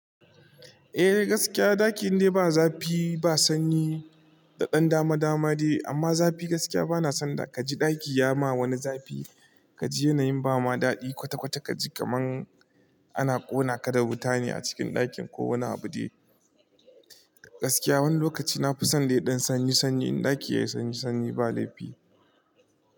Eh gaskiya ɗaki indai ba zafi ba sanyi da ɗan dama dama de, amma zafi gaskiya bana son da ka ji ɗaki ya ma wani zafi ka ji yanayin ba ma daɗi kwata kwata ka ji kaman ana ƙona ka da wuta ne a cikin ɗakin ko wani abu de. Gaskiya wani lokaci na fi son da ya ɗan sanyi sanyi in ɗaki yayi sanyi sanyi ba laifi.